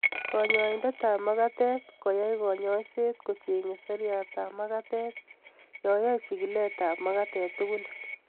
Kanyoindetab magatet koyai kanyoiset kocheng'e seriatab magatet yoyoe chigiletab magatet tugul